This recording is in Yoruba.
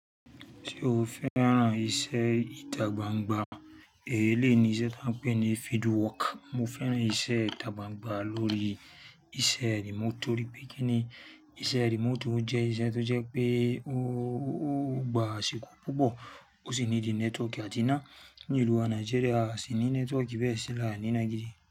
Ṣé o fẹ́ran iṣẹ́ ìta gbangba? Èyí ni ìṣe tí wọ́n ń pè ní field work. Mo fẹ́ran ìṣe ìta gbangba lórí iṣẹ́ remote nítorí pé kíni iṣẹ́ remote jẹ́ iṣẹ́ tó jẹ́ pé o gba àsìkò púpọ̀, o sì ní network àti náà nílùú wa Nigeria sì ní network bẹ́ẹ̀ sílẹ̀ nínà gidi.